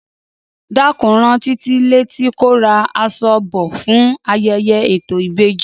Dákun rán Títí létí kó ra aṣọ bò fún ayẹyẹ ètò ìbejí